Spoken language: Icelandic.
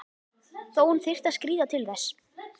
Þó hún þyrfti að skríða til þess.